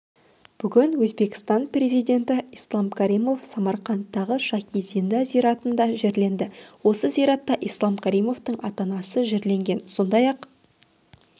бүгін өзбекстан президенті ислам каримов самарқандтағы шахи-зинда зиратында жерленді осы зиратта ислам каримовтың ата-анасы жерленген сондай-ақ